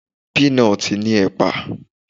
Pínatì ní ẹ̀pà.